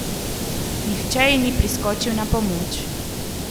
Nihče ji ni priskočil na pomoč.